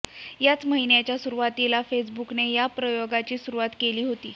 याच महिन्याच्या सुरुवातीला फेसबुकने या प्रयोगाची सुरुवात केली होती